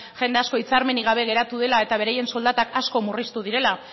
jende asko hitzarmenik gabe geratu dela eta beraien soldatak asko murriztu direla